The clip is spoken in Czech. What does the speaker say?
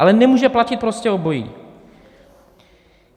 Ale nemůže platit prostě obojí.